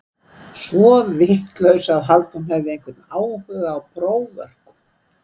Svo vitlaus að halda að hún hefði einhvern áhuga á próförkum.